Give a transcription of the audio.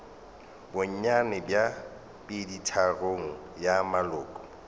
bonnyane bja peditharong ya maloko